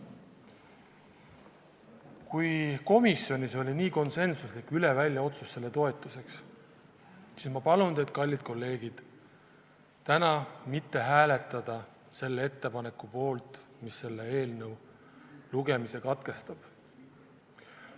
Kui komisjonis oli nii konsensuslik üle välja otsus selle toetuseks, siis ma palun teid, kallid kolleegid, täna mitte hääletada selle ettepaneku poolt, mis selle eelnõu lugemise katkestab.